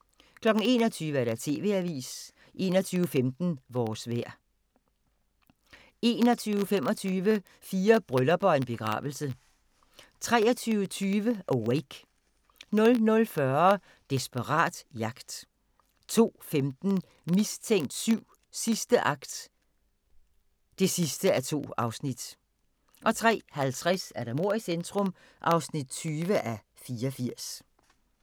21:00: TV-avisen 21:15: Vores vejr 21:25: Fire bryllupper og en begravelse 23:20: Awake 00:40: Desperat jagt 02:15: Mistænkt 7: Sidste akt (2:2) 03:50: Mord i centrum (20:84)